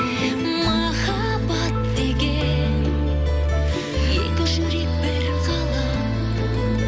махаббат деген екі жүрек бір ғалам